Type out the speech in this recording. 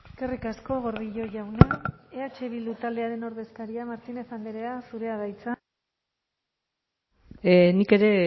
eskerrik asko gordillo jauna eh bildu taldearen ordezkaria martínez andrea zurea da hitza nik ere